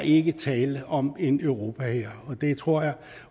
ikke er tale om en europahær og det tror jeg